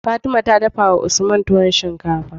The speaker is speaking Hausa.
Fatima ta dafawa usman tuwon shinkafa